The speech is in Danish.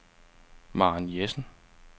Maren Jessen